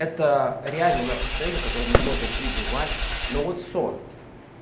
это реально наше состоянии в котором мы можем пребывать но вот сон